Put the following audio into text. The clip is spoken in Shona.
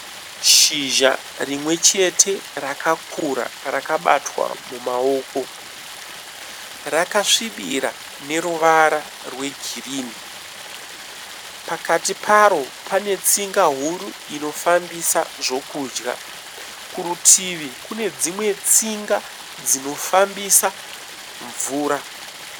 Shizha rimwechete rakakura rakabatwa mumaoko. Rakasvibira neruvara rwegirini . Pakati paro panetsinga huru inofambisa zvekudya . Kurutivi kune dzimwe tsinga dzinofambisa mvura.